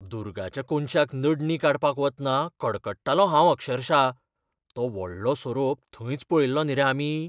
दुरगाच्या कोनशाक नडणी काडपाक वतना कडकडटालों हांव अक्षरशा, तो व्हडलो सोरोप थंयच पळयल्लो न्ही रे आमी!